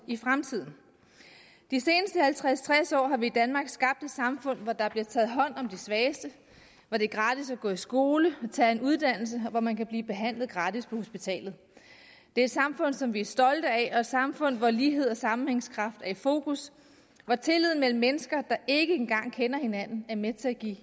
i fremtiden de seneste halvtreds til tres år har vi i danmark skabt et samfund hvor der bliver taget hånd om de svageste hvor det er gratis at gå i skole og tage en uddannelse og hvor man kan blive behandlet gratis på hospitalet det er et samfund som vi er stolte af og et samfund hvor lighed og sammenhængskraft er i fokus hvor tilliden mellem mennesker der ikke engang kender hinanden er med til at give